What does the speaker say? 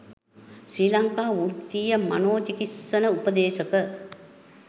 ශ්‍රී ලංකා වෘතීය මනෝ චිකිත්සන උපදේශක